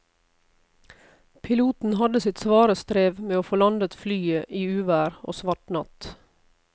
Piloten hadde sitt svare strev med å få landet flyet i uvær og svart natt.